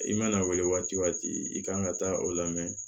I mana a wele waati o waati i kan ka taa o lamɛn